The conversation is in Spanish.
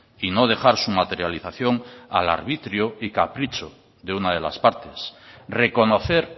y no dejar su materialización al arbitrio y capricho de una de las partes reconocer